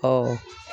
Ɔ